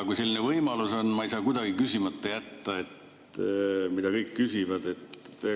Kui selline võimalus on, ei saa ma kuidagi küsimata jätta seda, mida kõik küsivad.